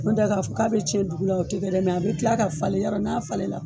N'on tɛ k'a fɔ k'a bɛ tiɲɛ dugu la o tɛ kɛ dɛ a bɛ tila ka falen yɔrɔ n'a falenna